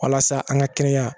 Walasa an ka kɛnɛya